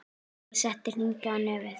Og sett hring í nefið.